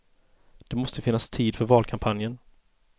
Det måste finnas tid för valkampanjen.